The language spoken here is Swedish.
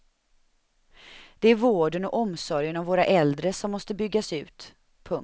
Det är vården och omsorgen om våra äldre som måste byggas ut. punkt